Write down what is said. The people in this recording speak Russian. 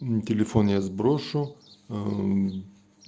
мм телефон я сброшу ээ